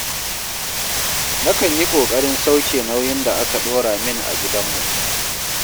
Nakan yi ƙoƙarin sauke nauyin da aka ɗora min a gidanmu